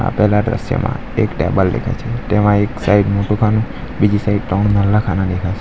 આપેલા દ્રશ્યમાં એક ટેબલ દેખાય છે તેમાં એક સાઇડ મોટું ખાનું બીજી સાઈડ ત્રણ ખાના દેખાય સે.